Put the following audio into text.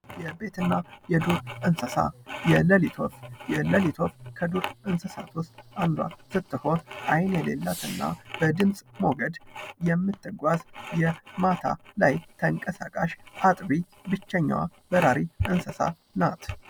የቤትና የዱር እንስሳ የሌሊት ወፍ የለሊት ወፍ ከዱር እንስሳት ውስጥ አንዷ ስትሆን አይን የሌላት እና በድምጽ ሞገድ የምትጓዝ የማታ ላይ ተንቀሳቃሽ አጥቢ ብቸኛዋ በራሪ እንስሳ ናት።